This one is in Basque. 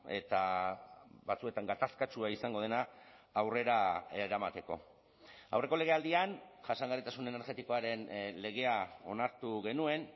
eta batzuetan gatazkatsua izango dena aurrera eramateko aurreko legealdian jasangarritasun energetikoaren legea onartu genuen